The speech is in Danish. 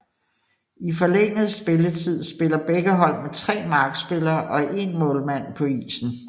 I den forlængede spilletid spiller begge hold med tre markspillere og en målmand på isen